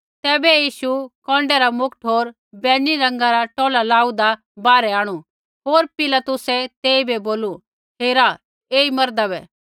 तैबै यीशु कौन्डै रा मुकुट होर बैंजनी रंगा रा टौला लाऊ होन्दा बाहरै आंणु होर पीलातुसै तेइबै बोलू हेरा ऐई मर्दा बै